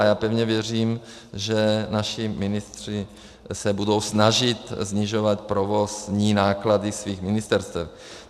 A já pevně věřím, že naši ministři se budou snažit snižovat provozní náklady svých ministerstev.